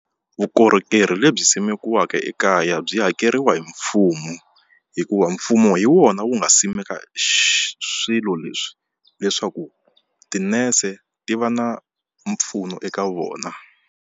Vukorhokeri lebyi simekiweke ekaya byi hakeriwa hi mfumo hikuva mfumo hi wona wu nga simeka xi swilo leswi leswaku tinese ti va na mpfuno eka vona.